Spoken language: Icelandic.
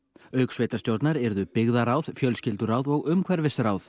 auk sveitastjórnar yrðu byggðarráð fjölskylduráð og umhverfisráð